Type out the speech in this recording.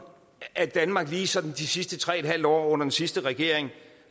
at danmark lige sådan de sidste tre en halv år under den sidste regering